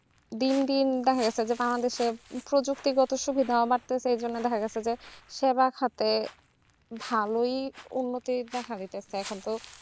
দিন দিন দেখা গেছে যে বাংলাদেশ এর প্রযুক্তি গত সুবিধা সেই জন্য দেখা গেছে যে সবার ক্ষেত্রে ভালোই উন্নতি দেখা যেতেছে এখন তো